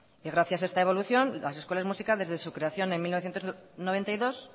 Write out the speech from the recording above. y gracias a esta evolución la escuelas musicales desde su creación en mil novecientos noventa y dos